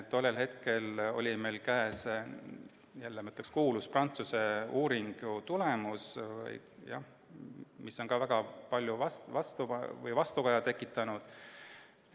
Tollel hetkel oli meil käes kuulsa Prantsuse uuringu tulemus, mis on väga palju vastukaja tekitanud.